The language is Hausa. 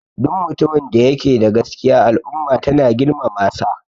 Duk mutumin da yake da gaskiya al'umma tana girmamasa